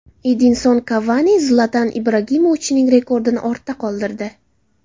Edinson Kavani Zlatan Ibragimovichning rekordini ortda qoldirdi.